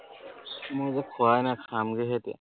মই যে খোৱাই নাই খামগেহে এতিয়া